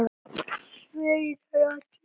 Sveinar allir bera.